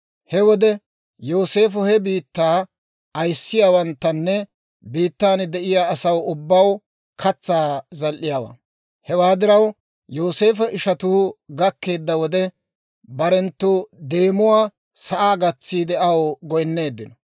He wode Yooseefo he biittaa ayissiyaawanttanne biittan de'iyaa asaw ubbaw katsaa zal"iyaawaa; hewaa diraw Yooseefo ishatuu gakkeedda wode, barenttu deemuwaa sa'aa gatsiide aw goynneeddinno.